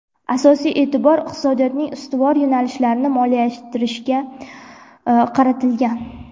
Asosiy e’tibor iqtisodiyotning ustuvor yo‘nalishlarini moliyalashtirishga moliyalashtirishga qaratilgan.